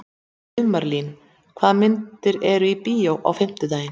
Sumarlín, hvaða myndir eru í bíó á fimmtudaginn?